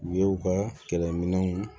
U ye u ka kɛlɛminɛnw